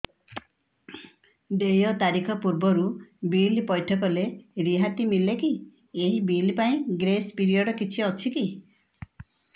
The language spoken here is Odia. ଦେୟ ତାରିଖ ପୂର୍ବରୁ ବିଲ୍ ପୈଠ କଲେ ରିହାତି ମିଲେକି ଏହି ବିଲ୍ ପାଇଁ ଗ୍ରେସ୍ ପିରିୟଡ଼ କିଛି ଅଛିକି